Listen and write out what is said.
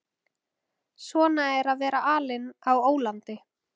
Svona er að vera alinn á ólandi.